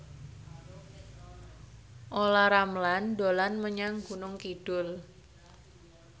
Olla Ramlan dolan menyang Gunung Kidul